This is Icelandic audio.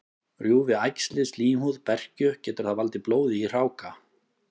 Rjúfi æxlið slímhúð berkju, getur það valdið blóði í hráka.